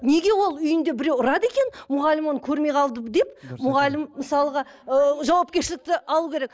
неге ол үйінде біреу ұрады екен мұғалім оны көрмей қалды деп мұғалім мысалға ыыы жауапкершілікті алу керек